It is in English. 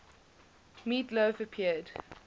meat loaf appeared